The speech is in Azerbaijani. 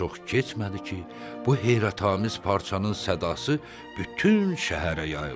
Çox keçmədi ki, bu heyrətamiz parçanın sədası bütün şəhərə yayıldı.